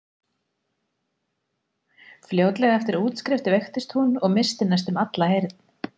Fljótlega eftir útskrift veiktist hún og missti næstum alla heyrn.